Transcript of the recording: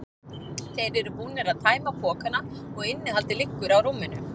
Þeir eru búnir að tæma pokana og innihaldið liggur á rúminu.